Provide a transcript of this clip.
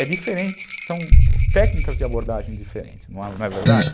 É diferente, são técnicas de abordagem diferentes, não é verdade?